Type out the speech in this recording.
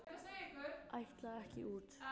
Ætla ekki út